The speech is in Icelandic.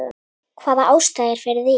Hvaða ástæða er fyrir því?